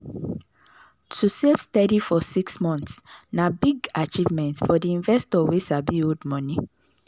to save steady for six months na big achievement for the investor wey sabi hold money.